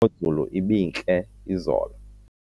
imozulu ibintle izolo